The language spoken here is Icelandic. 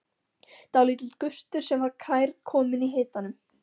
Dálítill gustur sem var kærkominn í hitanum.